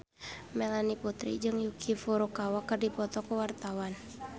Melanie Putri jeung Yuki Furukawa keur dipoto ku wartawan